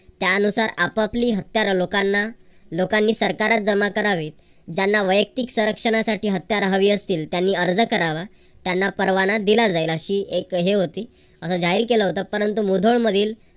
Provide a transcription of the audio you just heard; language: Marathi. त्यानुसार आपापली हत्यार लोकांना लोकांनी सरकारात जमा करावी. ज्यांना वयक्तिक संरक्षणासाठी हत्यार हवी असतील त्यांनी अर्ज करावा. त्यांना परवाना दिला जाईल अशी अशी एक हे होती. असं जाहीर केलं होतं. परंतु मुधोळ मधील